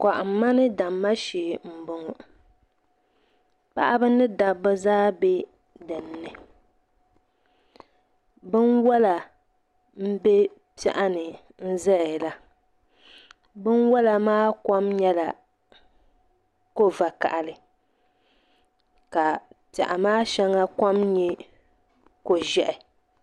Kɔhimma ni damma shee m-bɔŋɔ paɣiba ni dabba zaa be dini binwala m-be piɛɣu ni n-zaya la binwala maa kom nyɛla ko'vakahali ka piɛɣu maa shɛŋa kom nyɛ ko'ʒɛhi.